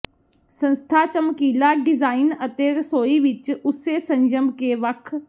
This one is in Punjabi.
ਸੰਸਥਾ ਚਮਕੀਲਾ ਡਿਜ਼ਾਇਨ ਅਤੇ ਰਸੋਈ ਵਿੱਚ ਉਸੇ ਸੰਜਮ ਕੇ ਵੱਖ